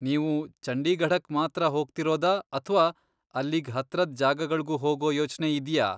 ನೀವು ಚಂಡೀಗಢಕ್ ಮಾತ್ರ ಹೋಗ್ತೀರೋದಾ ಅಥ್ವಾ ಅಲ್ಲಿಗ್ ಹತ್ರದ್ ಜಾಗಗಳ್ಗೂ ಹೋಗೋ ಯೋಚ್ನೆ ಇದ್ಯಾ?